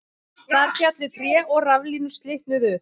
Þar féllu tré og raflínur slitnuðu